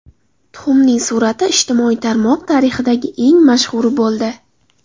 Tuxumning surati ijtimoiy tarmoq tarixidagi eng mashhuri bo‘ldi.